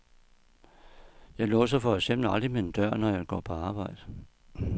Jeg låser for eksempel aldrig min dør, når jeg går på arbejde.